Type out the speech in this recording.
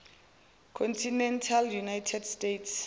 continental united states